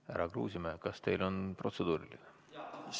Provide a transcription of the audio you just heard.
Härra Kruusimäe, kas teil on protseduuriline?